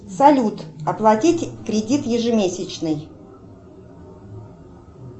салют оплатить кредит ежемесячный